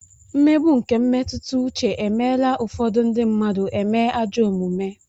Mmegbu nke mmetụta uche e meela ụfọdụ ndị mmadụ eme ajọ omume.